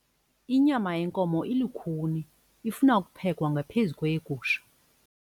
Inyama yenkomo ilukhuni ifuna ukuphekwa ngaphezu kweyegusha.